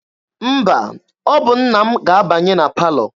Mba, ọ bụ nna m ga-abanye na palọ.